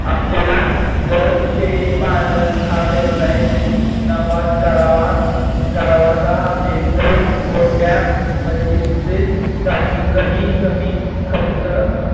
आपल्याला जर शेळी पालन हा व्यवसाय नफात करावाचा असेल तर, गोट्या बंदहिस्तेसाठी कमी कमी खर्च